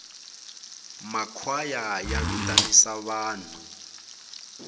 ma kwhaya ya tivanisa vanhu